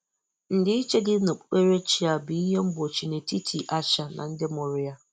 Ndịiche dị n'okpukperechi a bụ ihe mgbochi n'etiti Aisha na ndị mụrụ ya?